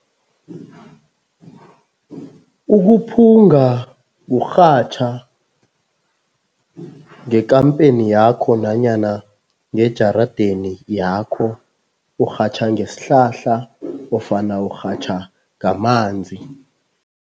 Ukuphunga kurhatjha ngekampeni yakho nanyana ngejaradeni yakho, urhatjha ngesihlahla nofana urhatjha ngamanzi.